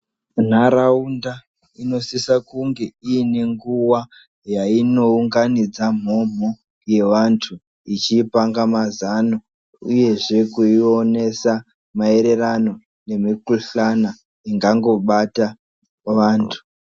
Nharaunda inosise kunge inenguwa yayinounganidza mhomho yevantu ichipanga mazano uyezve kuionesa mairirano nemukuhlani ingango bata vantu.